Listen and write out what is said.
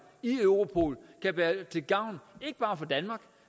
i europol kan være til gavn ikke bare for danmark